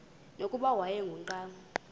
nokuba wayengu nqal